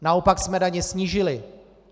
Naopak jsme daně snížili.